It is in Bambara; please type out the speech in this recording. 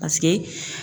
Paseke